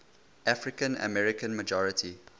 african american majority